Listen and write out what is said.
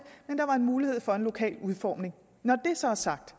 mulighed for en lokal udformning når det så er sagt